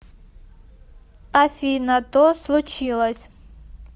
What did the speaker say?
афина то случилось